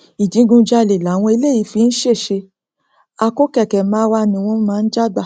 ìdígunjalè làwọn eléyìí fi ń ṣe ṣe àkóò kẹkẹ marwa ni wọn máa ń já gbà